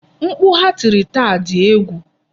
Mkpu ha tiri taa di egwu.